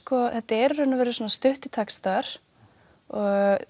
þetta eru í raun og veru stuttir textar og